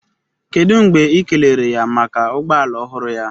Kedu mgbe ị kelere ya maka ụgbọ ala ọhụrụ ya?